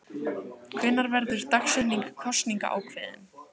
Gunnar: Hvenær verður dagsetning kosninga ákveðin?